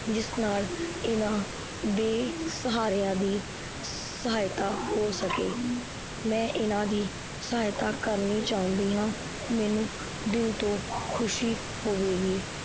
ਜਿਸ ਨਾਲ ਇਨਾਂ ਬੇਸਹਾਰਿਆ ਦੀ ਸਹਾਇਤਾ ਹੋ ਸਕੇ ਮੈ ਇਨਾਂ ਦੀ ਸਹਾਇਤਾ ਕਰਨੀ ਚਾਉਂਦੀ ਹਾਂ। ਮੈਨੂੰ ਦਿਲ ਤੋਂ ਖੁਸੀ ਹੋਵੇਗੀ